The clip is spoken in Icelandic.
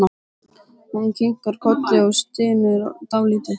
Hún kinkar kolli og stynur dálítið.